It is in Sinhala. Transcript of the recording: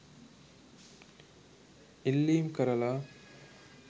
ඉල්ලීම් කරලා